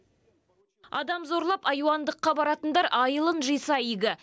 адам зорлап айуандыққа баратындар айылын жиса игі